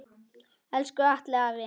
Elsku Atli afi.